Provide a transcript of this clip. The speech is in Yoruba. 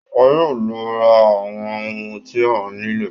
Wọn yóò lọ ra àwọn ohun tí a nílò